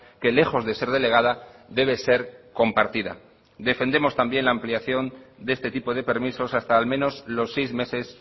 que lejos de ser delegada debe ser compartida defendemos también la ampliación de este tipo de permisos hasta al menos los seis meses